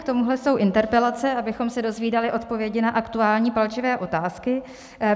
K tomuhle jsou interpelace, abychom se dozvídali odpovědi na aktuální palčivé otázky.